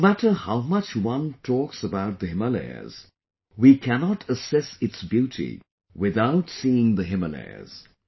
No matter how much one talks about the Himalayas, we cannot assess its beauty without seeing the Himalayas